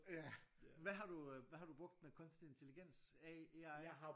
Ja hvad har du øh hvad har du brugt den der kunstig intelligens AI